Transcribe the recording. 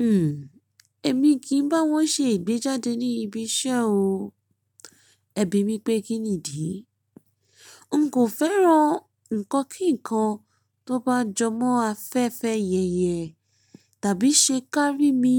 Hmm. Èmi kì í bá wọn ṣe ìgbéjáde ní ibi iṣẹ́ o. Ẹ̀bí mi pé kín nídi? N kò fẹ́ràn nǹkan kíkan tó bá jọmọ́ afẹ́fẹ́ yẹ̀yẹ, tàbí ṣe kárí mi,